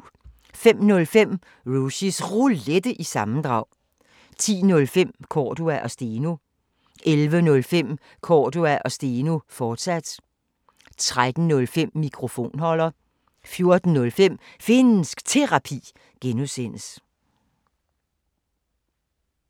05:05: Rushys Roulette – sammendrag 10:05: Cordua & Steno 11:05: Cordua & Steno, fortsat 13:05: Mikrofonholder 14:05: Finnsk Terapi (G)